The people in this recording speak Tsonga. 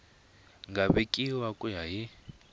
nga vekiwa ku ya hi